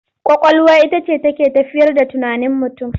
Ƙwaƙwalwa ita ce take tafiyar da tunanin mutum.